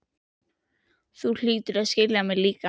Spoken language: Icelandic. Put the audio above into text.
Þú hlýtur að skilja mig líka.